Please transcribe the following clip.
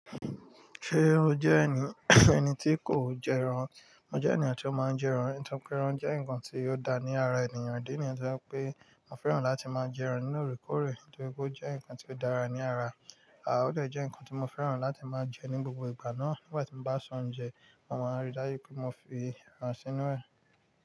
Ṣé o jẹ́ ẹni ẹni tí kò jẹ ẹran? Mo jẹ́ ènìyàn tí ó máa ń jẹ ẹran, nítorí pé ẹran jẹ́ ǹkan tí ó dá ní ara ènìyàn. Idi niyen tó je pé mo fẹ́ràn láti máa jẹ ẹran ní òrèkoore, nítorí pé ó jẹ́ ǹkan tí ó dára ní ara. Àà, o de jẹ́ ǹkan tí mo fẹ́ràn láti máa jẹ ní gbogbo ìgbà náà. Nígbà tí mo bá se oúnjẹ, màá rí dájú pé mo fi ẹran sínú ẹ̀